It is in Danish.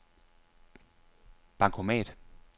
bankomat